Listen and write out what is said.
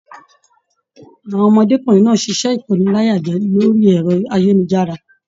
Àwọn ọmọdékunrin náà ṣiṣẹ ikóníláyàjẹ̀ orí ẹrọ ayélujára.